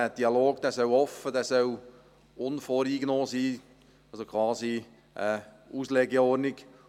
Der Dialog soll offen und unvoreingenommen sein, quasi eine Auslegeordnung.